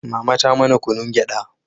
mama ta mana kunun gyada